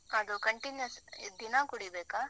ಅದು continuous ದಿನಾ ಕುಡೀಬೇಕಾ?